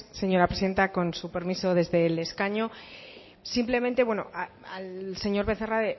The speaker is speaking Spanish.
señora presidenta con su permiso desde el escaño simplemente al señor becerra